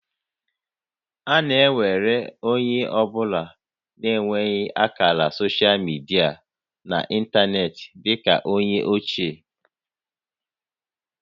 A na ewere onye ọ bụla na-enweghị ákàrà soshal midia na ịntanetị dị ka ónyé ochie